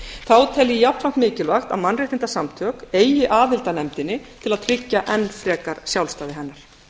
þá tel ég jafnframt mikilvægt að mannréttindasamtök eigi aðild að nefndinni til að tryggja enn frekar sjálfstæði hennar